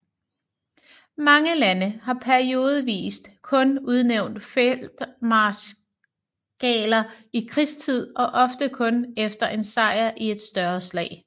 Mange lande har periodevist kun udnævnt feltmarskaler i krigstid og ofte kun efter en sejr i et større slag